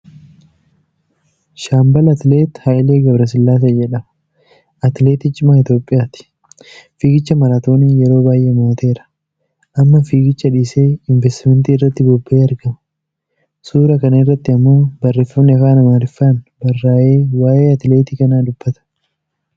Shaambal Atileet Hayilee Gabrasillaasee jedhama. Atileetii cimaa Itoophiyaati. Fiigicha maraatoonii yeroo baay'ee mo'ateera. Amma fiigicha dhiisee inveestimentii irratti bobba'ee argama. suura kana irratti ammoo barreefamni Afaan Amaarifffaan barraa'e waa'ee atileetii kanaa dubbata.